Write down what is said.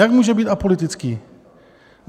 Jak může být apolitický?